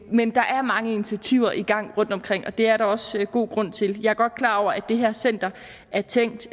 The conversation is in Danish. men der er mange initiativer i gang rundtomkring og det er der også god grund til jeg er godt klar over at det her center er tænkt